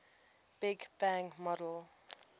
big bang model